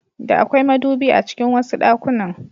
Da akwai madubi a cikin wasu ɗakunan.